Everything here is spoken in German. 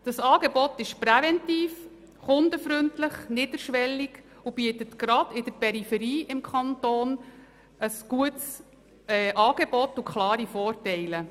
Dieses Angebot wirkt präventiv, es ist kundenfreundlich, niederschwellig und bietet gerade in der Peripherie des Kantons ein gutes Angebot mit klaren Vorteilen.